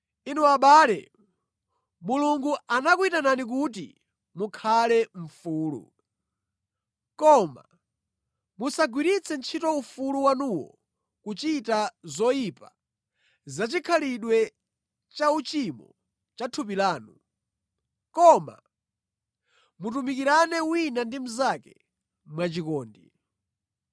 Inu abale, Mulungu anakuyitanani kuti mukhale mfulu. Koma musagwiritse ntchito ufulu wanuwo kuchita zoyipa zachikhalidwe cha uchimo cha thupi lanu, koma mutumikirane wina ndi mnzake mwachikondi.